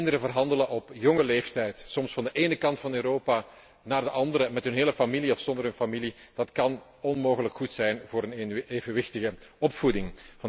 Kinderen verhandelen op jonge leeftijd, soms van de ene kant van Europa naar de andere, met hun hele familie of zonder hun familie, dat kan onmogelijk goed zijn voor een evenwichtige opvoeding.